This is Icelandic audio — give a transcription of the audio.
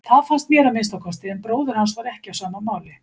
Það fannst mér að minnsta kosti en bróðir hans var ekki á sama máli.